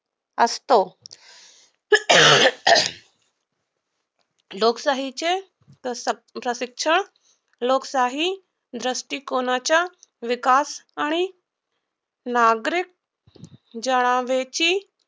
असतो. लोकशाहीचे प्रशिक्षण लोकशाही दृष्टिकोणाच्या विकासाने नागरिक जनतेची